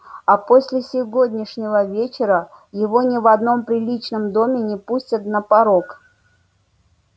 а после сегодняшнего вечера его ни в одном приличном доме не пустят на порог